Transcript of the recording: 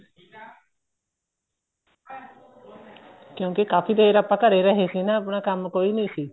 ਕਿਉਂਕਿ ਕਾਫ਼ੀ ਦੇਰ ਆਪਾਂ ਘਰੇ ਰਹੇ ਸੀ ਨਾ ਆਪਣਾ ਕੰਮ ਕੋਈ ਨਹੀਂ ਸੀ